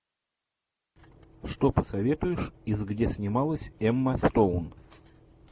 что посоветуешь из где снималась эмма стоун